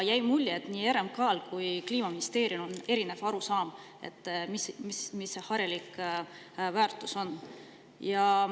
Jäi mulje, et RMK-l ja Kliimaministeeriumil on erinev arusaam, mis see harilik väärtus on.